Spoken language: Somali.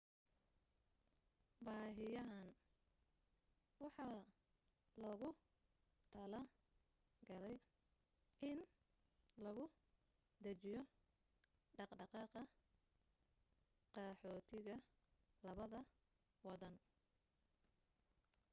baahiyahani waxaa loogu tala galay in lagu dajiyo dhaqdhaqaaqa qaxoontiga labada wadan